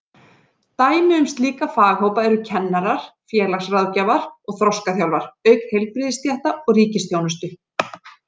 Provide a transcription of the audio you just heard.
Dæmi um slíka faghópa eru kennarar, félagsráðgjafar og þroskaþjálfar, auk heilbrigðisstétta í ríkisþjónustu.